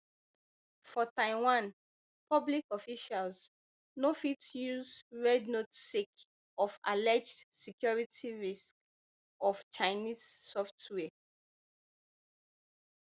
for taiwan public officials no fit use rednote sake of alleged security risks of chinese software